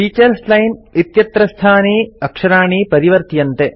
teachers line इत्यत्रस्थानि अक्षराणि परिवर्त्यन्ते